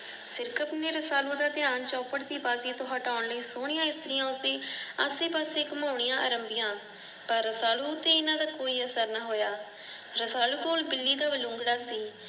ਸਿਰਕਤ ਨੇ ਰਸਾਲੂ ਦਾ ਧਿਆਨ ਚੌਪੜ ਦੀ ਬਾਜੀ ਤੋਂ ਹਟੋਣ ਲਈ ਸੋਨੀਆਂ ਇਸਤ੍ਰੀਆਂ ਉਸਦੇ ਆਸੇ ਪਾਸੇ ਘਮੋਨੀਆਂ ਆਰੰਭੀਆਂ ਪਰ ਰਸਾਲੂ ਉਤੇ ਇਹਨਾਂ ਦਾ ਕੋਈ ਅਸਰ ਨਾ ਹੋਇਆ । ਰਸਾਲੂ ਕੋਲੇ ਬਿੱਲੀ ਦਾ ਬਲੂੰਗੜਾ ਸੀ।